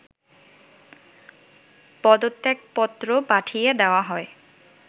পদত্যাগ পত্র পাঠিয়ে দেওয়া হয়